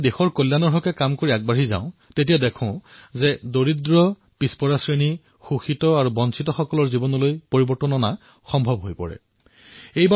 যিহেতু আমি দেশৰ হিতৰ দিশে আগবাঢ়ি গৈ আছোঁ তেন্তে দুখীয়া পিছপৰা শোষিত আৰু বঞ্চিতসকলৰ জীৱনলৈও পৰিৱৰ্তন আনিব পাৰি